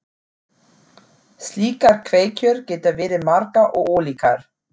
Slíkar kveikjur geta verið margar og ólíkar.